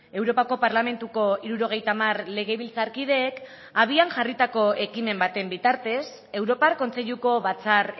europako parlamentuko hirurogeita hamar legebiltzarkideek abian jarritako ekimen baten bitartez europar kontseiluko batzar